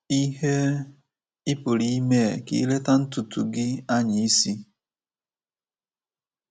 Ihe ị pụrụ ịmee ka ileta ntutu gi anya isi?